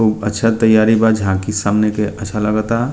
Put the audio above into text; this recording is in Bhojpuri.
खूब अच्छा तैयारी बा झाकी सामने के अच्छा लागता।